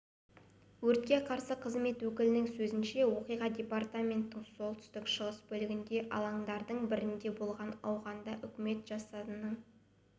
өртке қарсы қызмет өкілінің сөзінше оқиға департаменттің солтүстік шығыс бөлігіндегі алаңдардың бірінде болған ауғанстанда үкімет жасағының